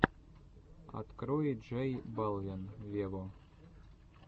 открой джей балвин вево